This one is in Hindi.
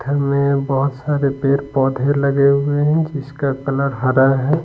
घर में बहुत सारे पेर पौधे लगे हुए हैं जिसका कलर हरा है।